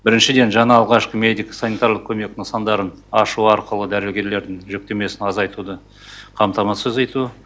біріншіден жаңа алғашқы медико санитарлық көмек нысандарын ашу арқылы дәрігерлердің жүктемесін азайтуды қамтамасыз ету